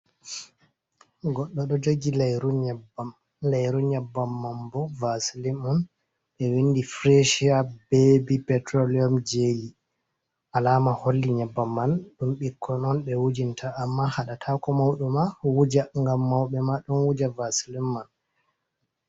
Goddo do jogi leiru nyabbam, leyru nyebam man bo vasilim on be windi frachia bebi petroleum jeli alama holli nyabbam man dum ɓikkon on be wujinta amma hada tako mauduma wuja gam mauɓe ma don wuja vasilim man.